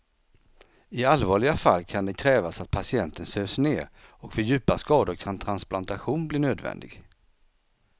I allvarliga fall kan det krävas att patienten sövs ner och vid djupa skador kan transplantation bli nödvändig.